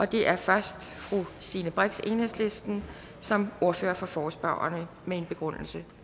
det er først fru stine brix enhedslisten som ordfører for forespørgerne med en begrundelse